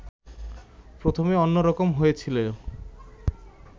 প্রথমে অন্য রকম হয়েছিল